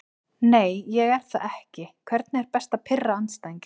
Nei ég er það ekki Hvernig er best að pirra andstæðinginn?